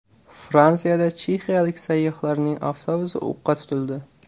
Fransiyada chexiyalik sayyohlarning avtobusi o‘qqa tutildi.